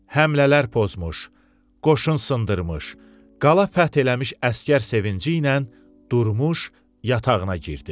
Həmlələr pozmuş, qoşun sındırmış, qala fəth eləmiş əsgər sevinci ilə Durmuş yatağına girdi.